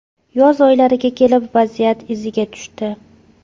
Yoz oylariga kelib, vaziyat iziga tushdi.